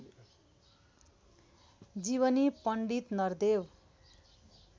जीवनी पण्डित नरदेव